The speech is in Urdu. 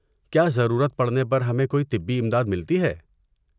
کیا ضرورت پڑنے پر ہمیں کوئی طبی امداد ملتی ہے؟